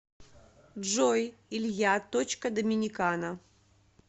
джой илья точка доминикана